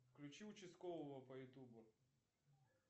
включи участкового по ютубу